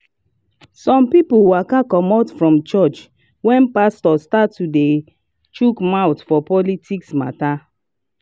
some people waka comot from church when pastor start to dey chuk mouth for politics matter.